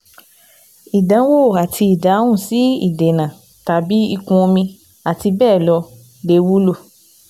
Ìdánwò àti ìdáhùn sí ìdènà/ìkún omi, àti bẹ́ẹ̀ lọ, lè wúlò